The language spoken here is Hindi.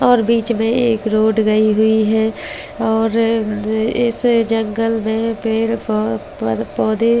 और बीच में एक रोड गई हुई है और द इस जंगल में पेड़ पौ पर पौधे अ जो --